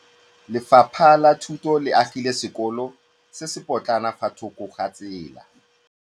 Lefapha la Thuto le agile sekôlô se se pôtlana fa thoko ga tsela.